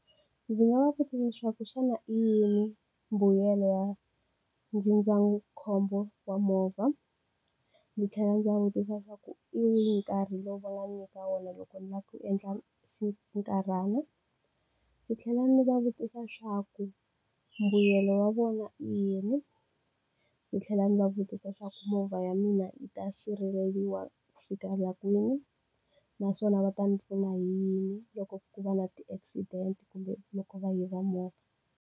Ndzi nga va vutisa leswaku xana i yini mbuyelo ya ndzindzakhombo wa movha? Ndzi tlhela ndzi va vutisa leswaku hi wihi nkarhi lowu va nga ndzi nyika wona loko ndzi lava ku endla xinkarhana? Ndzi tlhela ndzi va vutisa leswaku mbuyelo wa vona i yini? Ndzi tlhela ndzi va vutisa leswaku movha ya mina yi ta sirheleriwa ku fikela kwini? Naswona va ta ndzi pfuna hi yini loko ku va na ti-accident kumbe loko va yiva movha.